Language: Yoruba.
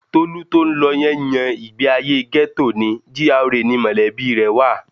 Tolú tó ń lọ yẹn yan ìgbéayé gẹ́tò ni, GRA ni mọ̀lẹ́bí rẹ̀ wa